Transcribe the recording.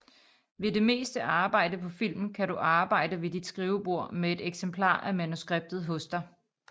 Ved det meste arbejde på film kan du arbejde ved dit skrivebord med et eksemplar af manuskriptet hos dig